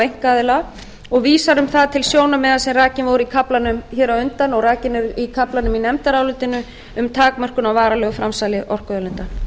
einkaaðila og vísar um það til sjónarmiða sem rakin voru í kaflanum hér á undan og rakin eru í kaflanum í nefndarálitinu um takmörkun á varanlegu framsali orkuauðlinda